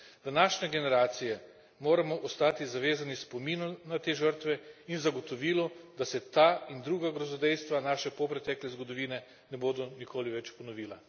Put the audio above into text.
Današnje generacije moramo ostati zavezane spominu na te žrtve in zagotovilu, da se ta in druga grozodejstva naše polpretekle zgodovine ne bodo nikoli več ponovila.